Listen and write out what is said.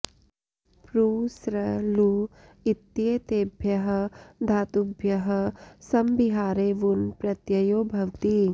प्रु सृ लू इत्येतेभ्यः धातुभ्यः समभिहारे वुन् प्रत्ययो भवति